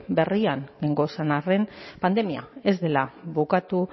berrian gauden arren pandemia ez dela bukatu